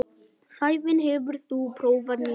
Sævin, hefur þú prófað nýja leikinn?